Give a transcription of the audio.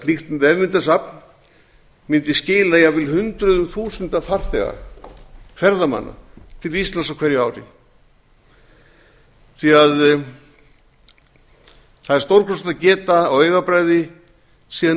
slíkt vefmyndasafn mundi skila jafnvel hundruðum þúsunda farþega ferðamanna til íslands á hverju ári því það er stórkostlegt að geta á augabragði séð